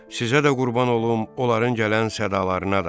Sizə də qurban olum, onların gələn sədalaranı da.